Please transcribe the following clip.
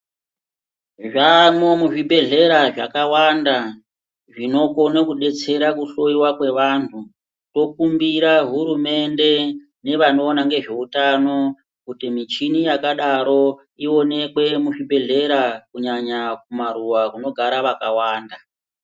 Zvamwo muzvibhedhlera zvakawanda zvinokone kubetsera kuhloiwa kwevanhu. Tokumbira hurumende nevanoona ngezvehutano kuti michini yakadaro ionekwe muzvibhedhlera kunyanya kumaruva kunogara vakawanda.